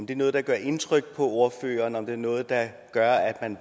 det noget der gør indtryk på ordføreren er det noget der gør at man